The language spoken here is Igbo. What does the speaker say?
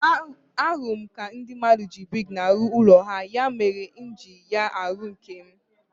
Ahụrụ m ka ndị mmadụ ji brik na-arụ ụlọ ha, ya mere m ji eji ya arụ nke m.